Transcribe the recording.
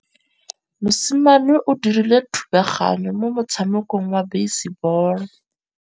Mosimane o dirile thubaganyô mo motshamekong wa basebôlô.